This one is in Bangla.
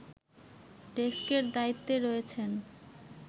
ডেস্কের দায়িত্বে রয়েছেন